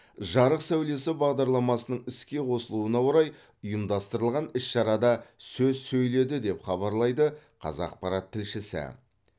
жарық сәулесі бағдарламасының іске қосылуына орай ұйымдастырылған іс шарада сөз сөйледі деп хабарлайды қазақпарат тілшісі